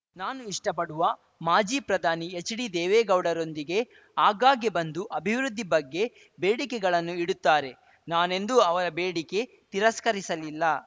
ನಾನು ಇಷ್ಟಪಡುವ ಮಾಜಿ ಪ್ರಧಾನಿ ಎಚ್‌ಡಿದೇವೇಗೌಡರೊಂದಿಗೆ ಆಗಾಗ್ಗೆ ಬಂದು ಅಭಿವೃದ್ಧಿ ಬಗ್ಗೆ ಬೇಡಿಕೆಗಳನ್ನು ಇಡುತ್ತಾರೆ ನಾನೆಂದೂ ಅವರ ಬೇಡಿಕೆ ತಿರಸ್ಕರಿಸಲಿಲ್ಲ